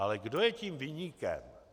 Ale kdo je tím viníkem?